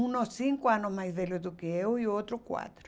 Um cinco anos mais velho do que eu e o outro quatro.